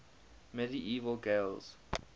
medieval gaels